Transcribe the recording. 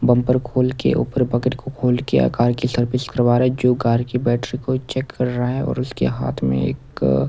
bumper खोल के ऊपर बकेट के खोल के आकार की सर्विस करवा रहा है जो कार की बैटरी को चेक कर रहा है और उसके हाथ में एक --